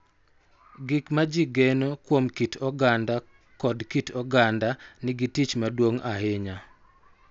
Gik ma ji geno kuom kit oganda kod kit oganda nigi tich maduong� ahinya